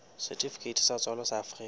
setifikeiti sa tswalo sa afrika